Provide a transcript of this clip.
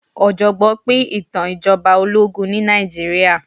ọ̀jọ̀gbọ́n pín ìtàn ìjọba ológun ní Nàìjíríà.